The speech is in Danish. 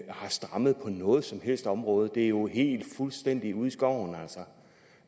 har strammet på noget som helst område det er jo altså helt fuldstændig ude i skoven